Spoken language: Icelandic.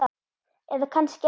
Eða kannski ekki.